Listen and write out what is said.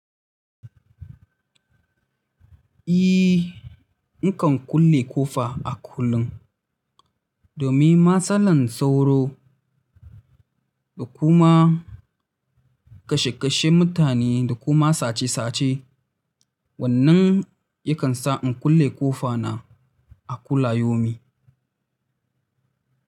Ehh, nakan kulle ƙofa a kullum. Domin matsalar sauro da kuma kashe kashen mutane da kuma sace sace. Wannan yakan sa in kulle ƙofa na a kula yomi.